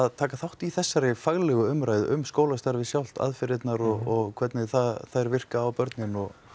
taka þátt í þessari faglegu umræðu um skólastarfið sjálft aðferðirnar og hvernig þær virka á börnin